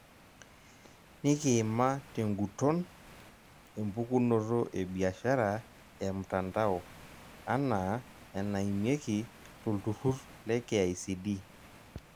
Nikiima tenguton empukunoto ebiashara emtandao anaa enaimieki tolturrurr le KICD.